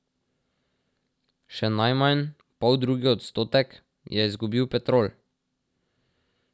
Še najmanj, poldrugi odstotek, je izgubil Petrol.